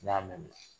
N'i y'a mɛn